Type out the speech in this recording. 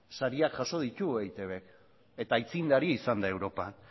sariak jaso ditu eitbk eta aitzindari izan da europan